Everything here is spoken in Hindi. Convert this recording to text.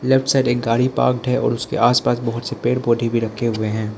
लेफ्ट साइड एक गाड़ी पार्क्ड है और उसके आसपास बहुत से पेड़ पौधे भी रखे हुए हैं।